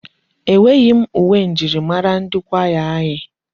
Enweghị m uwe njirimara ndi kwaya anyị.